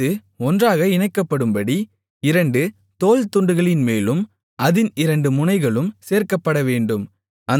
அது ஒன்றாக இணைக்கப்படும்படி இரண்டு தோள்துண்டுகளின்மேலும் அதின் இரண்டு முனைகளும் சேர்க்கப்படவேண்டும்